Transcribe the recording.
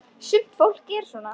Sumt fólk er svona.